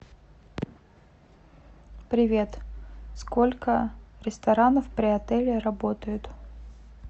привет сколько ресторанов при отеле работают